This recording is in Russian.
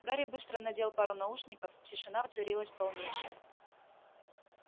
гарри быстро надел пару наушников тишина воцарилась полнейшая